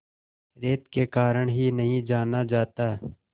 रेत के कारण ही नहीं जाना जाता